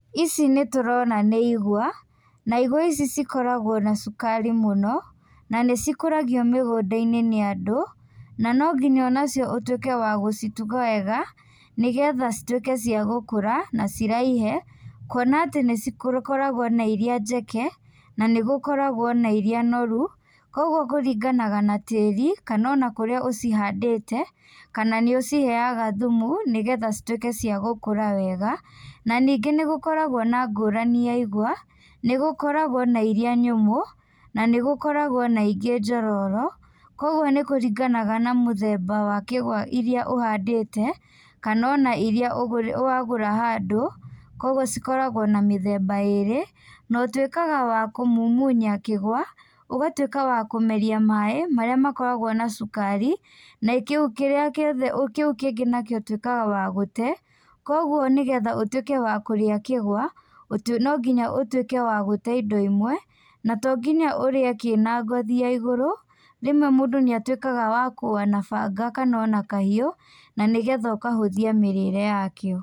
Ici nĩtũrona nĩ igwa, na igwa ici cikoragwo na cukari mũno na nĩcikũragio mĩgũnda-inĩ nĩ andũ, na no nginya o nacio ũtuĩke wa gũcituga wega, nĩgetha cituĩke cia gũkũra, na ciraihe, kuona atĩ nĩcikoragwo na irĩa njeke, na nĩgũkoragwo na irĩa noru, kogwo kũringanaga na tĩĩri, kana o na kũrĩa ũcihandĩte, kana nĩ ũciheyaga thumu, nĩgetha cituĩke ciagũkũra wega, na ningĩ nĩgũkoragwo na ngũrani ya igwa, nĩgũkoragwo na irĩa nyũmũ, na nĩgũkoragwo na ingĩ njororo, kogwo nĩkũringanaga na mũthemba wa kĩgwa irĩa ũhandĩte, kana o na irĩa wagũra handũ, kogwo cikoragwo na mĩthemba ĩrĩ na ũtuĩkaga wa kũmumunya kĩgwa ũgatuĩka wa kũmeria maaĩ marĩa makoragwo na cukari, na kĩu kĩngĩ ũtuĩkaga wa gũte kogwo nĩgetha ũtuĩke wa kũria kĩgwa no ngĩnya ũtuĩke wa gũte indo imwe, na tonginya ũrĩe kĩ na ngothi ya igũrũ, rĩmwe mũndũ nĩatuĩkaga wa kũa na banga kana na kahiũ, na nĩgetha ũkahũthia mĩrĩre ya kĩo.